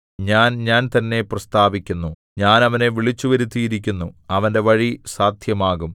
ഞാൻ ഞാൻ തന്നെ പ്രസ്താവിക്കുന്നു ഞാൻ അവനെ വിളിച്ചുവരുത്തിയിരിക്കുന്നു അവന്റെ വഴി സാദ്ധ്യമാകും